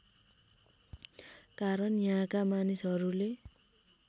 कारण यहाँका मानिसहरूले